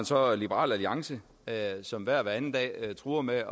så er der liberal alliance som hver og hver anden dag truer med